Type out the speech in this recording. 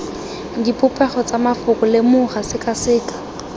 dipopego tsa mafoko lemoga sekaseka